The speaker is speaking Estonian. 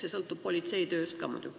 See sõltub muidugi ka politsei tööst.